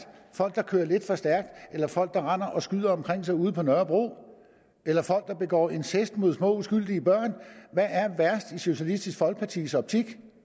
folk der kører lidt for stærkt eller folk der render og skyder omkring sig ude på nørrebro eller folk der begår incest mod små uskyldige børn hvad er værst i socialistisk folkepartis optik